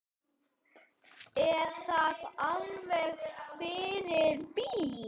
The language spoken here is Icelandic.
Er það alveg fyrir bí?